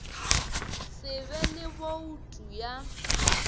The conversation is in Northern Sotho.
se be le boutu ya